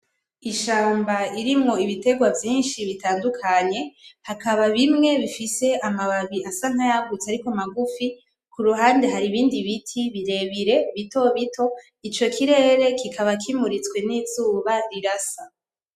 Ishamba irimwo ibiterwa vyinshi bitandukanye, hakaba bimwe bifise amababi asa nkayagutse ariko magufi, kuruhande haribindi biti birebire, bito bito. Ico kirere kikaba kimuritswe nizuba rirasa.